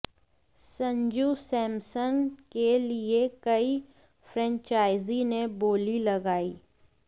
संजू सैमसन के लिए कई फ्रेंचाइजी ने बोली लगाई